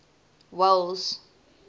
welles